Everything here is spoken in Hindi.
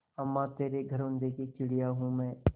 अम्मा तेरे घरौंदे की चिड़िया हूँ मैं